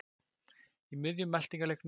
Í miðjum eltingaleiknum kom